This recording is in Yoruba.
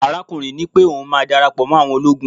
arakunrin nipé oun ma darapo mo àwọn ologun